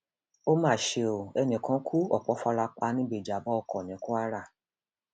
ó mà ṣe o ẹnì kan kú ọpọ fara pa níbi ìjàmbá ọkọ ní kwara